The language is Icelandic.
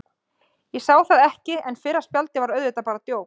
Ég sá það ekki, en fyrra spjaldið er auðvitað bara djók.